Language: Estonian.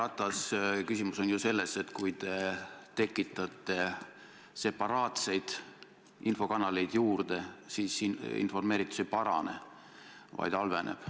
Härra Ratas, küsimus on selles, et kui te tekitate separaatseid infokanaleid juurde, siis informeeritus ei parane, vaid halveneb.